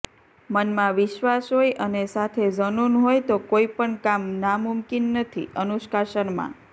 મનમાં વિશ્વાસ હોય અને સાથે ઝનૂન હોય તો કોઇ પણ કામ નામુમકિન નથીઃ અનુષ્કા શર્મા